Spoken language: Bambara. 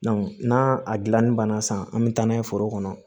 n'a a gilanni banna sisan an bɛ taa n'a ye foro kɔnɔ